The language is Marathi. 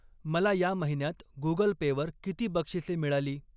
मला या महिन्यात गुगल पे वर किती बक्षिसे मिळाली?